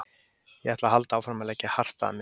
Ég ætla að halda áfram að leggja hart að mér.